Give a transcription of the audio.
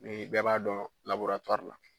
Ni bɛɛ b'a dɔn la.